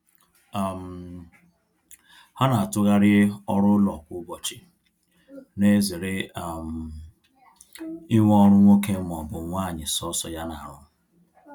um Ha na-atughari ọrụ ụlọ kwa ụbọchị, na ezere um inwe ọrụ nwoke ma ọ bụ nwanyi sọsọ ya na arụ